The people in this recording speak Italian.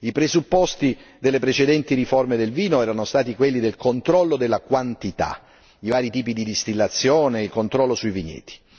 I presupposti delle precedenti riforme del vino erano stati quelli del controllo della quantità, i vari tipi di distillazione e il controllo sui vigneti.